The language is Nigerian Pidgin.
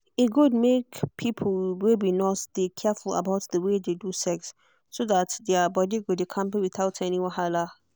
e good make people wey be nurse dey careful about the way they do sex so that their body go dey kampe without any wahala.